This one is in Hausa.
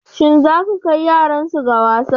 Shin zaka kai yaran su ga wasan?